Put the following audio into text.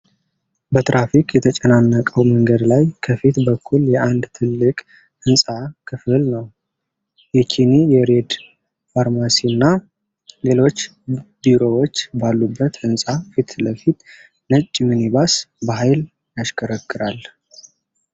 በትራፊክ የተጨናነቀው መንገድ ላይ ከፊት በኩል የአንድ ትልቅ ሕንፃ ክፍል ነው። የኪኒ የሬድ ፋርማሲና ሌሎች ቢሮዎች ባሉበት ህንጻ ፊትለፊት ነጭ ሚኒባስ በሀይል ያሽከረክራል።